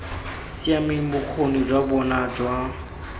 siameng bokgoni jwa bona jwa